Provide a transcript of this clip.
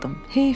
Heyf.